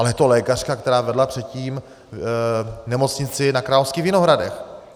Ale je to lékařka, která vedla předtím nemocnici na Královských Vinohradech.